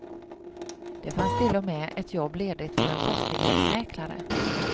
Det fanns till och med ett jobb ledigt för en fastighetsmäklare.